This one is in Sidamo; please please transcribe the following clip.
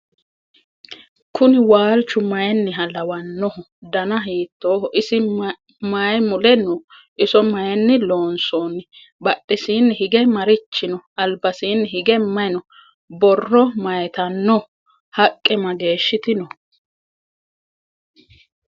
kuuni walchu maaniha lawanooho? danna hittoho? isi mayi nule noo? iso maayini loonsonni? badhesini hiige marichi noo? albasinni hige maayi noo? borro mayitanno? haqe mageshitti noo?